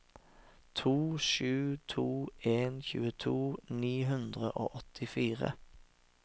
to sju to en tjueto ni hundre og åttifire